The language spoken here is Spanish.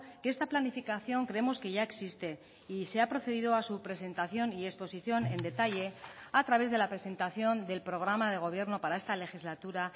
que esta planificación creemos que ya existe y se ha procedido a su presentación y exposición en detalle a través de la presentación del programa de gobierno para esta legislatura